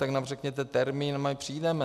Tak nám řekněte termín a my přijdeme.